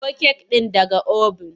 Ciro kek ɗin daga oven!